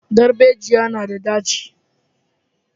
Darbejiya na da ɗaci